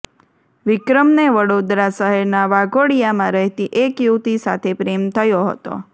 વિક્રમને વડોદરા શહેરના વાઘોડિયામાં રહેતી એક યુવતિ સાથે પ્રેમ થયો હતો